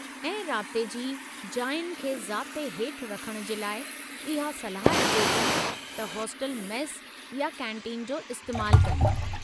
ऐं राब्ते जी जायुनि खे ज़ाब्ते हेठि रखण जे लाइ इहो सलाह ॾिजे थी त हॉस्टल मेस या कैंटीन जो इस्तेमालु कनि।